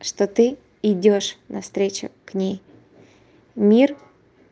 что ты идёшь навстречу к ней мир